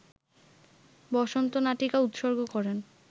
বসন্ত নাটিকা উৎসর্গ করেন